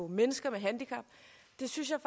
mennesker med handicap det synes jeg